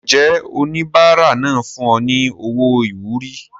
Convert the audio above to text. Ǹjẹ́ oníbàárà náà fún ọ ní owó ìwúrí?